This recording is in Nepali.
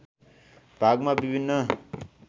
भागमा विभिन्न